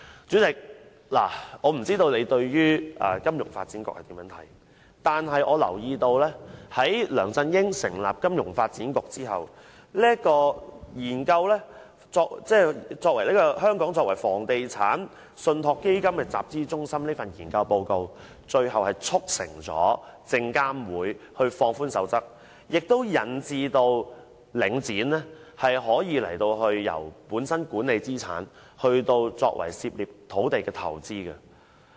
主席，我不知道你對於金發局的想法為何，但我注意到一點：在梁振英成立金發局後，該局發表有關發展香港作為房地產信託基金集資中心的研究報告，最終竟促成證券及期貨事務監察委員會放寬守則，致使領展作為資產管理公司，卻可以參與土地投資。